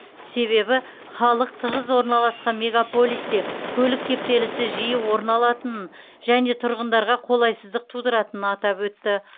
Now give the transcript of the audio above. себебі халқы тығыз орналасқан мегаполисте көлік кептелісі жиі орын алатынын және тұрғындарға қолайсыздық тудыратынын атап өтті